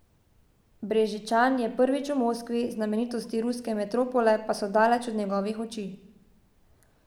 Brežičan je prvič v Moskvi, znamenitosti ruske metropole pa so daleč od njegovih oči.